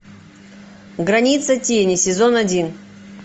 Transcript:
граница тени сезон один